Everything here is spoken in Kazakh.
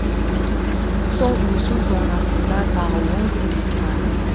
сол өсу зонасында тағы он күндей тұрады